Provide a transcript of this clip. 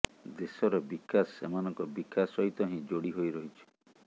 ଦେଶର ବିକାଶ ସେମାନଙ୍କ ବିକାଶ ସହିତ ହିଁ ଯୋଡ଼ି ହୋଇ ରହିଛି